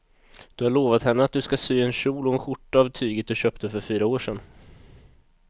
Du har lovat henne att du ska sy en kjol och skjorta av tyget du köpte för fyra år sedan.